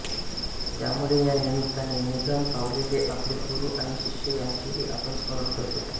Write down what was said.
त्यामुळे या निमित्ताने निधन पावलेले आपले गुरू आणि शिष्य त्यांचेही आपण स्मरण करतो